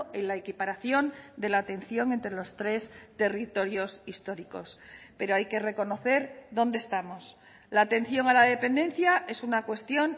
en la equiparación de la atención entre los tres territorios históricos pero hay que reconocer dónde estamos la atención a la dependencia es una cuestión